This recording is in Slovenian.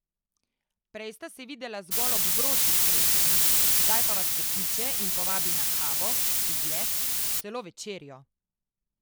Prej sta se videvala zgolj ob vročih srečanjih, zdaj pa vas pokliče in povabi na kavo, izlet, celo večerjo.